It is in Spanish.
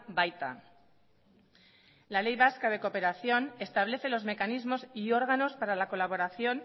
baita la ley vasca de cooperación establece los mecanismos y órganos para la colaboración